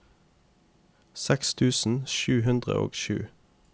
seks tusen sju hundre og sju